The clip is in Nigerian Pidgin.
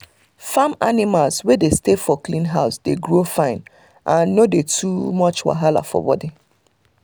farm animals wey dey stay for clean house dey grow fine and no dey do too much wahala for body